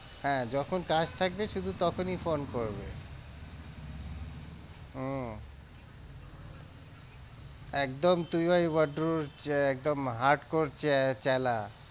হ্যাঁ, যখন কাজ থাকবে শুধু তখনই phone করবে উম একদম তুই ওই বদরুর একদম hard core চ্যালা।